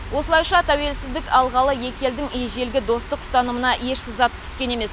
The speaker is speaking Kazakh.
осылайша тәуелсіздік алғалы екі елдің ежелгі достық ұстанымына еш сызат түскен емес